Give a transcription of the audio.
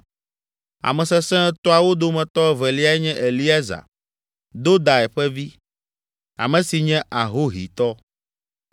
Ame Sesẽ Etɔ̃awo dometɔ eveliae nye Eleazar, Dodai ƒe vi, ame si nye Ahohitɔ.